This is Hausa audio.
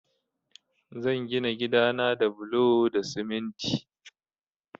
Zan gina gida na da bulo da siminti